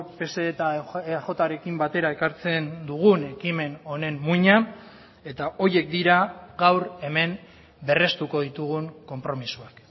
pse eta eajrekin batera ekartzen dugun ekimen honen muina eta horiek dira gaur hemen berrestuko ditugun konpromisoak